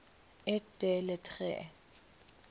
et des lettres